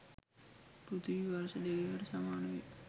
පෘථිවි වර්ෂ දෙකකට සමානවේ.